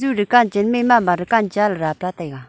ju dukan chen ma a mama dukan daplah taiga.